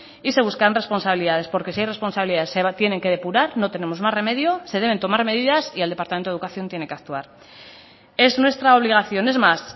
y se buscaran responsabilidades porque si hay responsabilidades se tienen que depurar no tenemos más remedio se deben tomar medidas y el departamento de educación tiene que actuar es nuestra obligación es más